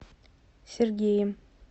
сергеем